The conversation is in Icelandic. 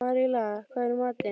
Maríella, hvað er í matinn?